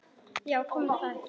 Já, kom það ekki!